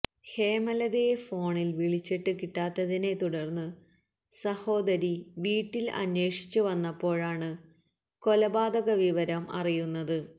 ഹേമലതയെ ഫോണില് വിളിച്ചിട്ട് കിട്ടാത്തതിനെ തുടര്ന്ന് സഹോദരി വീട്ടില് അന്വേഷിച്ച് വന്നപ്പോഴാണ് കൊലപാതക വിവരം അറിയുന്നത്